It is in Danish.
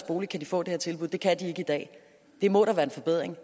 bolig kan få det her tilbud det kan man ikke i dag det må da være en forbedring